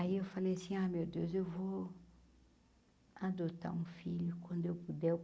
Aí eu falei assim, ah meu Deus, eu vou adotar um filho quando eu puder eu.